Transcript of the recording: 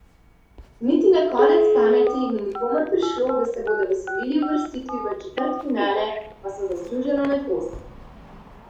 Niti na konec pameti ni nikomur prišlo, da se bodo veselili uvrstitve v četrtfinale pa so zasluženo med osem.